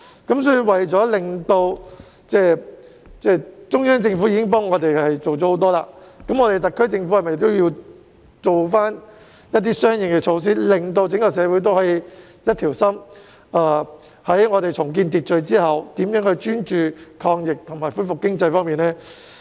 既然中央政府已為我們做了很多工夫，那麼特區政府應否採取相應措施，令整個社會上下一心，在重建社會秩序後專注抗疫和恢復經濟發展呢？